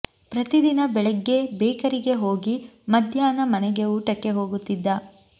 ಪ್ರತಿ ದಿನ ಬೆಳಗ್ಗೆ ಬೇಕರಿಗೆ ಹೋಗಿ ಮಧ್ಯಾಹ್ನ ಮನೆಗೆ ಊಟಕ್ಕೆ ಹೋಗುತ್ತಿದ್ದ